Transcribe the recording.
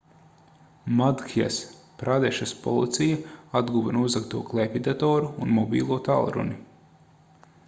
madhjas pradešas policija atguva nozagto klēpjdatoru un mobilo tālruni